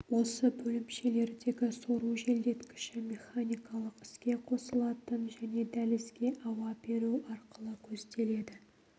осы бөлімшелердегі сору желдеткіші механикалық іске қосылатын және дәлізге ауа беру арқылы көзделеді